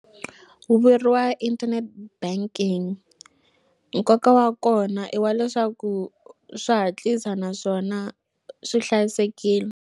Ku vuyeriwa internet banking nkoka wa kona i wa leswaku swa hatlisa naswona swi hlayisekile.